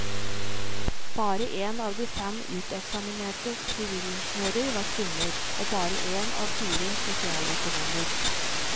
Bare én av fem uteksaminerte sivilingeniører var kvinner, og bare én av fire sosialøkonomer.